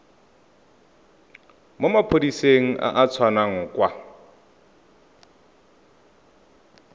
maphodiseng a a tswang kwa